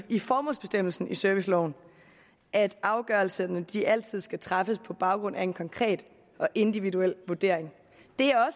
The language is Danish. i formålsbestemmelsen i serviceloven at afgørelserne altid skal træffes på baggrund af en konkret og individuel vurdering